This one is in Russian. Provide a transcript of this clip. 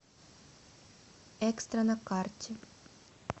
экстра на карте